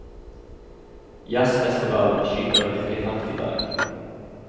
Jazzfestivalen skyter virkelig fart i dag.